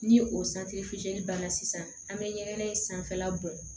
Ni o banna sisan an bɛ ɲɛgɛn in sanfɛla bɔ